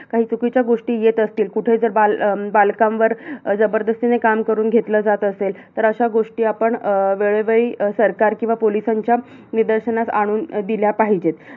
काही चुकीच्या गोष्टी येत असतील कुठे जर बाल बालकांवर जबरदस्तीने काम करून घेतलं जात असेल, तर अशा गोष्टी आपण अं वेळोवेळी सरकार किंवा police यांच्या निदर्शनास आणून दिल्या पाहिजेत.